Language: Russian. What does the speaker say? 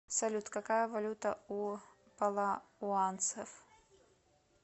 салют какая валюта у палауанцев